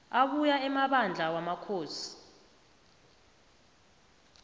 abuya emabandla wamakhosi